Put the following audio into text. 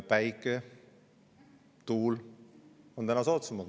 Päikese- ja tuule on täna soodsamad.